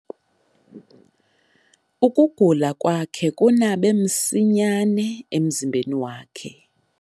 Ukugula kwakhe kunabe msinyane emzimbeni wakhe.